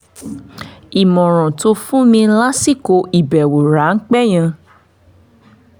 ìmọ̀ràn tó fún mi lásìkò ìbẹ̀wò ráńpẹ́ yẹn